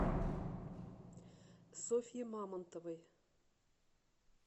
софье мамонтовой